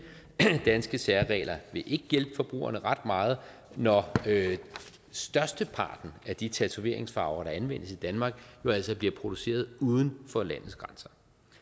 danske særregler vil ikke hjælpe forbrugerne ret meget når størsteparten af de tatoveringsfarver der anvendes i danmark jo altså bliver produceret uden for landets grænser